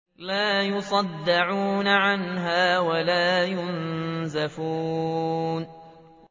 لَّا يُصَدَّعُونَ عَنْهَا وَلَا يُنزِفُونَ